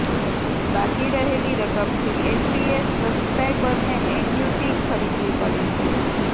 બાકી રહેલી રકમથી એનપીએસ સબ્સક્રાઈબરને એન્યુટી ખરીદવી પડે છે